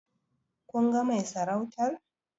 Kun ga mai sarautar?